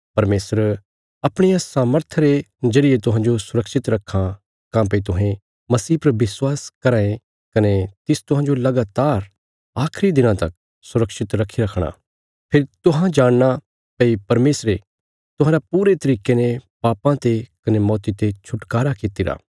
परमेशर अपणिया सामर्था रे जरिये तुहांजो सुरक्षित रखां काँह्भई तुहें मसीह पर विश्वास कराँ ये कने तिस तुहांजो लगातार आखिरी दिना तक सुरक्षित रखी रखणा फेरी तुहां जाणना भई परमेशरे तुहांरा पूरे तरिके ने पापाँ ते कने मौती ते छुटकारा कित्तिरा